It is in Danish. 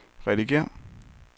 redigér